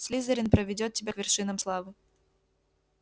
слизерин проведёт тебя к вершинам славы